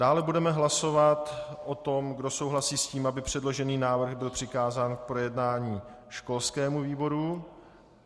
Dále budeme hlasovat o tom, kdo souhlasí s tím, aby předložený návrh byl přikázán k projednání školskému výboru.